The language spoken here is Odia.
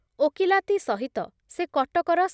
ଓକିଲାତି ସହିତ ସେ କଟକର